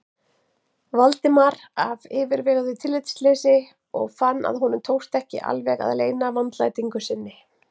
Valdimar af yfirveguðu tillitsleysi og fann að honum tókst ekki alveg að leyna vandlætingu sinni.